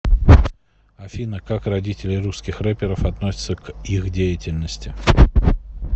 афина как родители русских рэперов относятся к их деятельности